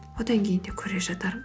одан кейін де көре жатармын